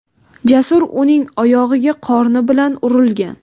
Jasur uning oyog‘iga qorni bilan urilgan.